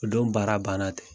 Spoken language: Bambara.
O don baara banna te.